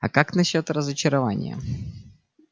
а как насчёт разочарования